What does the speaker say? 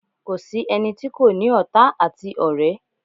Kò sí ẹni tí kò ní ọ̀tá àti ọ̀rẹ́.